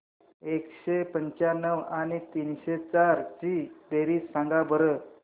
एकशे पंच्याण्णव आणि तीनशे चार ची बेरीज सांगा बरं